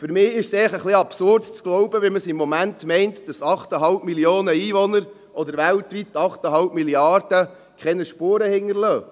Für mich ist es einfach etwas absurd, zu glauben – wie man es im Moment meint –, dass 8,5 Mio. Einwohner oder weltweit 8,5 Mrd. keine Spuren hinterlassen.